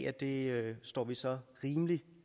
at det står vi så rimelig